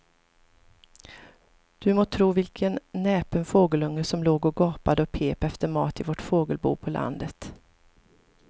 Du må tro vilken näpen fågelunge som låg och gapade och pep efter mat i vårt fågelbo på landet.